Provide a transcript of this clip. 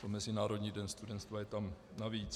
To Mezinárodní den studenstva je tam navíc.